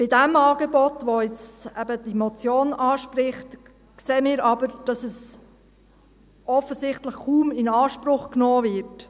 Beim Angebot, das diese Motion anspricht, sehen wir aber, dass es offensichtlich kaum in Anspruch genommen wird.